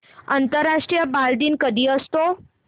आंतरराष्ट्रीय बालदिन कधी असतो